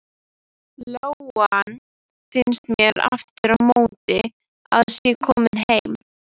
Lóan finnst mér aftur á móti að sé komin heim.